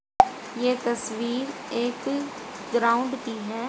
ये तस्वीर एक ग्राउंड की है।